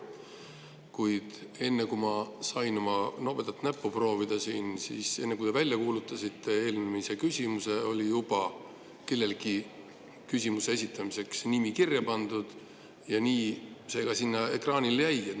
Kuid enne, kui mina sain oma nobedat näppu proovida, enne kui te välja kuulutasite eelmise küsimuse, oli juba kellelgi küsimuse esitamiseks nimi kirja pandud ja nii see ka sinna ekraanile jäi.